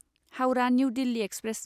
Howrah New Delhi express